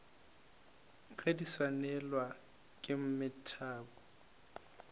ge di swanelwa ke mathebo